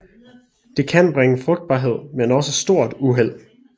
De kan bringe frugtbarhed men også stort uheld